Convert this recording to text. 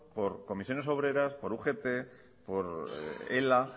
por comisiones obreras por ugt por ela